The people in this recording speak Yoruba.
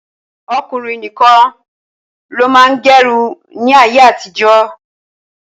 Ọkùnrin nìkan ni ó máa ń gẹrun ni ayé àtijọ́.